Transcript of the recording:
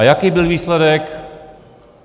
A jaký byl výsledek?